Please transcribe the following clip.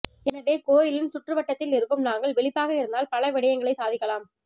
எனவே கோயிலின் சுற்றுவட்டத்தில் இருக்கும் நாங்கள் விளிப்பாக இருந்தால் பல விடயங்களை சாதிக்கலாம்